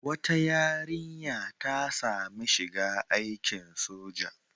Wata yarinya ta sami shiga aikin soja.